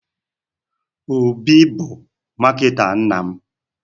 Obi bụ marketer nna m.